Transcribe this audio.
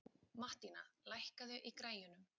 Mattína, lækkaðu í græjunum.